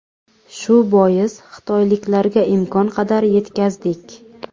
Shu bois, xitoyliklarga imkon qadar yetkazdik.